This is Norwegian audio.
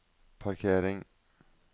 parkering